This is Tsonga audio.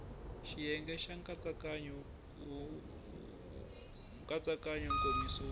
xiyenge xa nkatsakanyo nkomiso wo